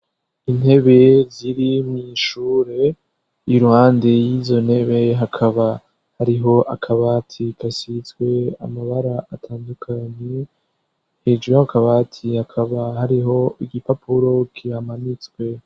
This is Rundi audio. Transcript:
Intebe ziri mw'ishure iruhande y'izontebe hakaba hariho akabati kasizwe amabara atandukanye. Hejuru y'akabati hakaba hariho igipapuro kihamanitswe.